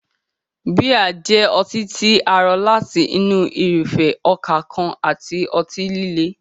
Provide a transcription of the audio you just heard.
Bíà jẹ́ ọtí tí a rọ láti inú irúfẹ́ ọkà kan àti ọtí líle.